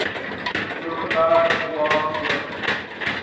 overberg oba oorgeneem